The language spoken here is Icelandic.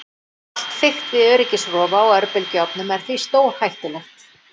Allt fikt við öryggisrofa á örbylgjuofnum er því stórhættulegt.